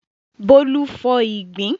Bólú fọ ìgbín.